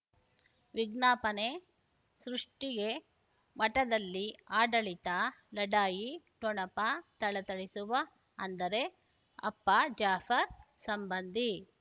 ವಿಜ್ಞಾಪನೆ ಸೃಷ್ಟಿಗೆ ಮಠದಲ್ಲಿ ಆಡಳಿತ ಲಢಾಯಿ ಠೊಣಪ ಥಳಥಳಿಸುವ ಅಂದರೆ ಅಪ್ಪ ಜಾಫರ್ ಸಂಬಂಧಿ